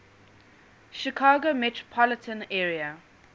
chicago metropolitan area